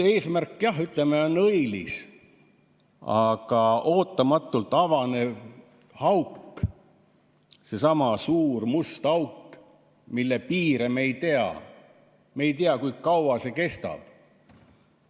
Eesmärk on õilis, aga ootamatult avaneva augu, sellesama suure musta augu piire me ei tea, me ei tea, kui kaua see kestab.